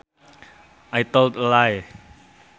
I told a lie